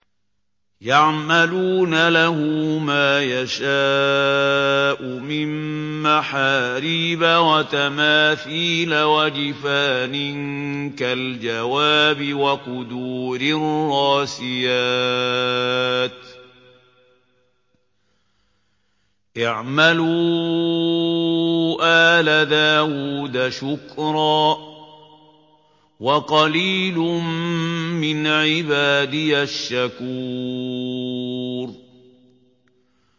يَعْمَلُونَ لَهُ مَا يَشَاءُ مِن مَّحَارِيبَ وَتَمَاثِيلَ وَجِفَانٍ كَالْجَوَابِ وَقُدُورٍ رَّاسِيَاتٍ ۚ اعْمَلُوا آلَ دَاوُودَ شُكْرًا ۚ وَقَلِيلٌ مِّنْ عِبَادِيَ الشَّكُورُ